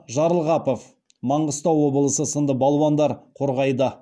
жарылғапов маңғыстау облысы сынды балуандар қорғайды